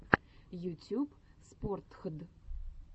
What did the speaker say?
ютюб спортхд